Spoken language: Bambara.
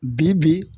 Bi bi